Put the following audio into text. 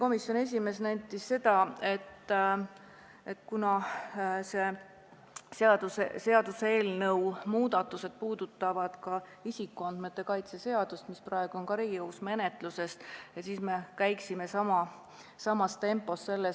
Komisjoni esimees nentis, et kuna selle seaduseelnõu muudatused puudutavad ka isikuandmete kaitse seaduse eelnõu, mis on praegu ka Riigikogu menetluses, siis me võiksime sellega samas tempos käia.